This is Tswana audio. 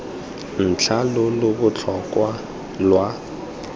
ntlha lo lo botlhokwa lwa